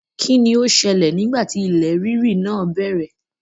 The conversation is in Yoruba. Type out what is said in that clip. Kí ni ó ṣẹlẹ̀ nígbà ti ilẹ̀ rírì náà bẹ̀rẹ̀?